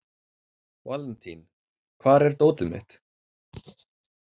Valentín, hvar er dótið mitt?